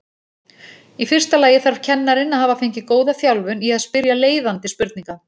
Í fyrsta lagi þarf kennarinn að hafa fengið góða þjálfun í að spyrja leiðandi spurninga.